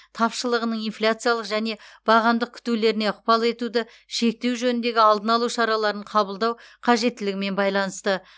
тапшылығының инфляциялық және бағамдық күтулеріне ықпал етуді шектеу жөніндегі алдын алу шараларын қабылдау қажеттілігімен байланысты